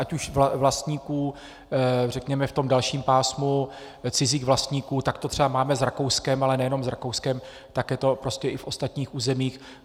Ať už vlastníků, řekněme, v tom dalším pásmu, cizích vlastníků, tak to třeba máme s Rakouskem, ale nejenom s Rakouskem, tak je to prostě i v ostatních územích.